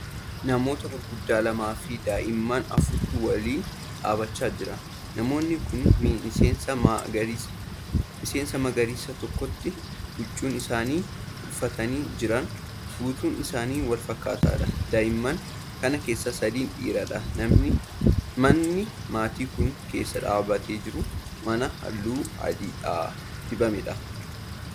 Namoota gurguddaa lamafi daa'imman afurtu waliin dhaabachaa jira. namoonni Kuni miseensa magariisa tokkooti. huccuun isaan uffatanii Jiran guutuun Isaa walfakkaataadha. daa'imman Kan keessaa sadi dhiiradha. manni maatiin Kuni keessa dhaabatee jiru mana halluu adiidhaan dibameedha.